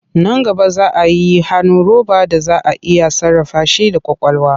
Nan gaba za a yi hannu roba da za a iya sarrafa shi da ƙwaƙwalwa.